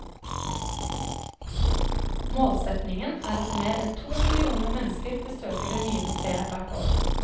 Målsetningen er at mer enn to millioner mennesker besøker det nye museet hvert år.